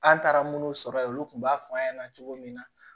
An taara munnu sɔrɔ yen olu kun b'a fɔ an ɲɛna cogo min na